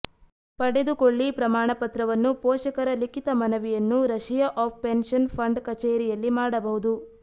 ಪಡೆದುಕೊಳ್ಳಿ ಪ್ರಮಾಣಪತ್ರವನ್ನು ಪೋಷಕರ ಲಿಖಿತ ಮನವಿಯನ್ನು ರಶಿಯಾ ಆಫ್ ಪೆನ್ಷನ್ ಫಂಡ್ ಕಚೇರಿಯಲ್ಲಿ ಮಾಡಬಹುದು